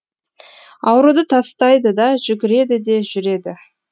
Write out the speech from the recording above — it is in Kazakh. ауруды тастайды да жүгіреді де жүреді